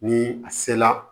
Ni a se la